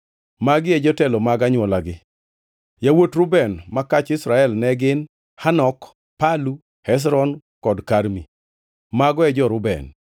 Magi e jotelo mag anywolagi: Yawuot Reuben ma kach Israel ne gin: Hanok, Palu, Hezron kod Karmi. Mago e jo-Reuben.